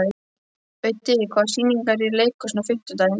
Auddi, hvaða sýningar eru í leikhúsinu á fimmtudaginn?